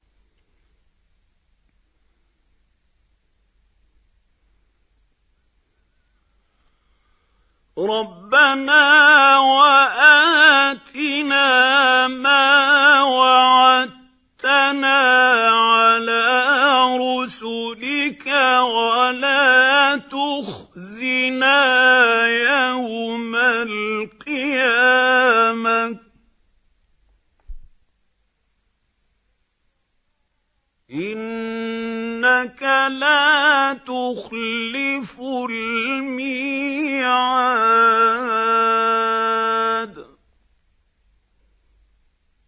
رَبَّنَا وَآتِنَا مَا وَعَدتَّنَا عَلَىٰ رُسُلِكَ وَلَا تُخْزِنَا يَوْمَ الْقِيَامَةِ ۗ إِنَّكَ لَا تُخْلِفُ الْمِيعَادَ